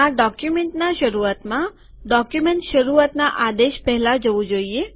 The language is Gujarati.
આ ડોક્યુમેન્ટના શરૂઆતમાં ડોક્યુમેન્ટ શરૂઆતના આદેશ પહેલા જવું જોઈએ